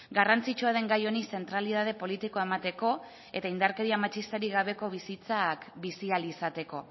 garrantzitsua den gai honi zentralitate politikoa emateko eta indarkeria matxistarik gabeko bizitzak bizi ahal izateko